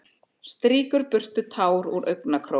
Strýkur burtu tár úr augnakrók.